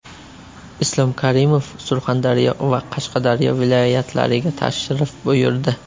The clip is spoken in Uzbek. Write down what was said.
Islom Karimov Surxondaryo va Qashqadaryo viloyatlariga tashrif buyurdi.